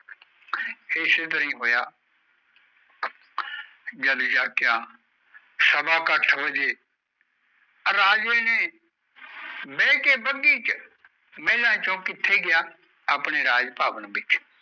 ਜਦ ਜਗ੍ਯ ਸਵਾ ਕ ਅੱਠ ਬਜੇ ਰਾਜੇ ਨੇ ਬਾਇਕੇ ਬਾਗੀ ਵਿਚ ਮੈਲਾ ਜੋ ਕਿਥੇ ਗਯਾ ਆਪਣੇ ਰਾਜ ਪਾਵਣਾ ਚ